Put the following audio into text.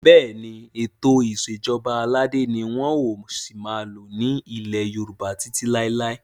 Bẹ́ẹ̀ni, Ètò ìsèjọba aládé ni wọn ò sì máa lò ní ilẹ́ Yorùbá títí lai